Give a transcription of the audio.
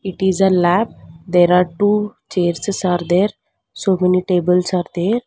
it is a lab there are two chairses are there so many tables are there.